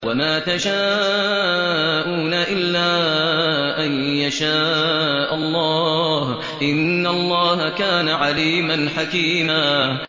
وَمَا تَشَاءُونَ إِلَّا أَن يَشَاءَ اللَّهُ ۚ إِنَّ اللَّهَ كَانَ عَلِيمًا حَكِيمًا